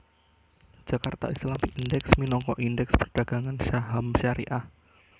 Jakarta Islamic Index minangka Indèks perdagangan saham syariah